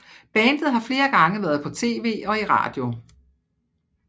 Bandet har flere gange været på TV og i radio